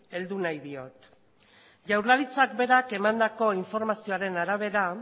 heldu nahi diot jaurlaritzak berak emandako informazioaren arabera